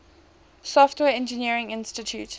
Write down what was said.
software engineering institute